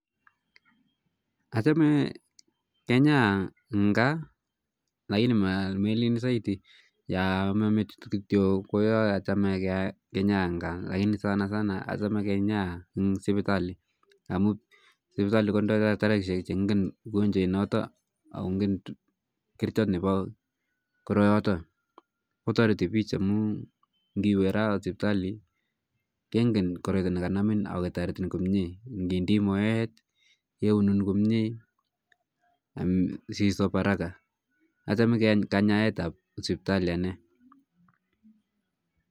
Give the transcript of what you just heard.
Achame kenyaya ing kaa lakini melin saiti ,yoo ama metit kityo ko yooa acheme kenyaa kityo ing kaa lakini sana sana achame kenyaa ing sipitali amu sipitali kondoi daktarishek che ngen ugonjwait noto akongen kerchot nepo koroyoto kotariti pich amu ngiwe raa sipitali kengen koroito ne kanamin aketariin komye, ngindii moet keunum komye si sop haraka, achame kanyayet ap sipitali ane